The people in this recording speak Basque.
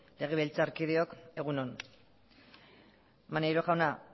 legebitzarkideok egun on maneiro jauna